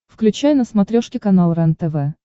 включай на смотрешке канал рентв